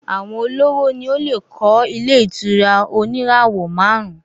Àwọn olówó ni ó lè kọ́ ilé ìtura oníràwọ̀ márùn-ún